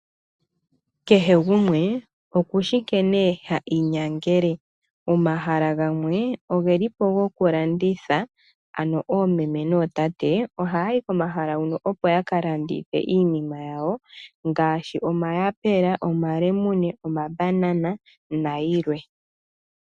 Kehe gumwe okushi nkene ha inyangele. Omahala gamwe oge lipo gokulanditha ano oomeme nootate, oha yayi komahala wuno opo ya ka landithe iinima yawo, ngaashi omayapula, omalemune, omabanana nayilwe.